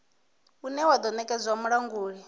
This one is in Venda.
une wa do nekedzwa mulanguli